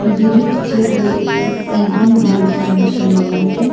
ये जो पिक्चर है ये इवनिंग व्यू की है शिमला मॉल की--